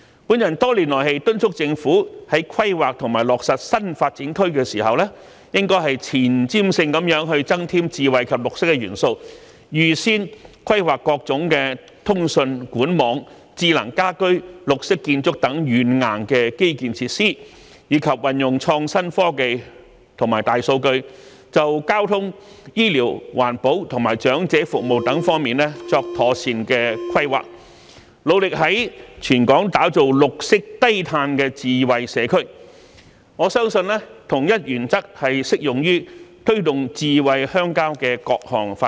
我多年來敦促政府在規劃和落實新發展區時，應前瞻性地增添智慧及綠色元素，預先規劃各種通訊、管網、智能家居、綠色建築等軟硬基建設施，以及運用創新科技和大數據，就交通、醫療、環保和長者服務等方面作妥善規劃，致力在全港打造綠色低碳智慧社區，我相信同一原則亦適用於推動"智慧鄉郊"的各項發展。